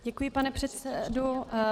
Děkuji, pane předsedo.